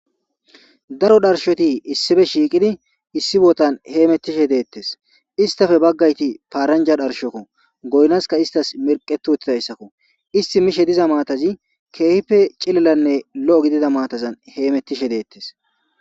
daro dharshoti issife shiiqidi issi bootan heemettishe deettes istafe baggayti paaranja dharshokko goynaska istas mirqetu huthidayssakko isti mishe diza maatazi keehippe cilallanne lo7o gidida maatazan heemettishe deettes